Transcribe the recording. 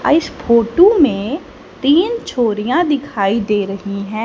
अ इस फोटू में तीन छोरियां दिखाई दे रही हैं।